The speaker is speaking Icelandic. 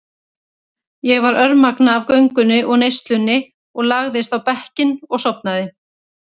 Ég var örmagna af göngunni og neyslunni og lagðist á bekkinn og sofnaði.